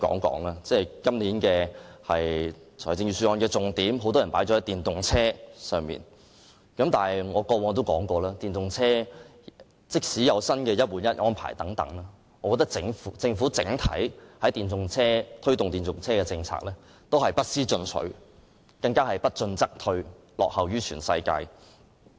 今年很多人把預算案的重點放在電動車上，而我過往亦曾提到，即使電動車有"一換一"的新安排，但我認為政府推動電動車的整體政策不思進取，甚至不進則退，落後於全世界。